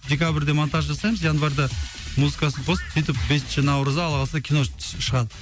декабрьде монтаж жасаймыз январьда музыкасын қосып сөйтіп бесінші наурызда алла қаласа кино түсіп шығады